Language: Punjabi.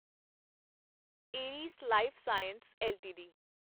ਏਰਿਸ ਲਾਈਫਸਾਇੰਸ ਐੱਲਟੀਡੀ